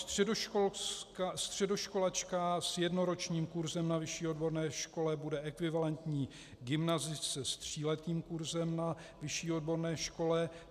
Středoškolačka s jednoročním kurzem na vyšší odborné škole bude ekvivalentní gymnazistce s tříletým kurzem na vyšší odborné škole.